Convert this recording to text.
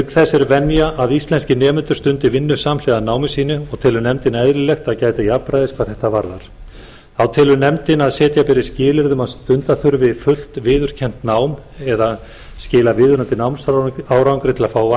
er venja að íslenskir nemendur stundi vinnu samhliða námi sínu og telur nefndin eðlilegt að gæta jafnræðis hvað þetta varðar þá telur nefndin að setja beri skilyrði um að stunda þurfi fullt viðurkennt nám eða skila viðunandi námsárangri til að fá atvinnuleyfi